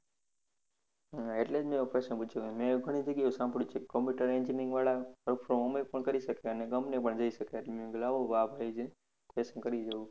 હા એટલે જ મેં એવો પ્રશ્ન પૂછ્યો મેં આવું ઘણી જગ્ય્યા સાભળ્યું છે computer engineering વાળા work from home પણ કરી શકે અને company પણ જાય શકે એટલે મેં કીધું લાવો આ ભાઈ છે question કરી જોવું